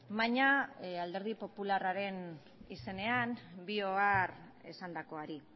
baina alderdi popularraren izenean bi ohar esandakoari